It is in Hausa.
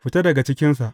Fita daga cikinsa!